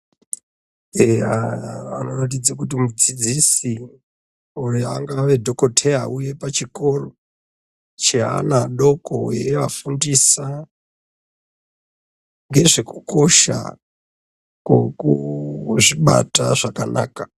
Eya vanoratidze kuti mudzidzisi uyo angave dhokoteya auya pachikora cheana adoko eafundisa ngezvekukosha kokuzvinata zvakanaka.